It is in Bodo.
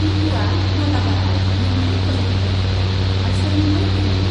टिपुआ मालाबारआव मोनथाई फज'फिननो थाखाइ माईसुरनिफ्राय फैदोंमोन।